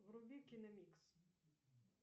вруби киномикс